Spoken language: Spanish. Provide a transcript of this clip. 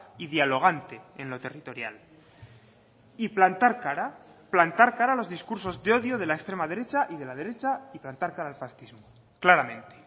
y dialogante en lo territorial y plantar cara plantar cara a los discursos de odio de la extrema derecha y de la derecha y plantar cara al fascismo claramente